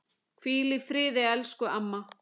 Hvíl í friði, elsku amma.